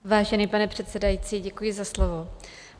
Vážený pane předsedající, děkuji za slovo.